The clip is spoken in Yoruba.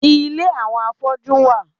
Ile àwọn afọ́jú wà.